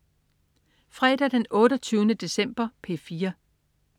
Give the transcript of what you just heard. Fredag den 28. december - P4: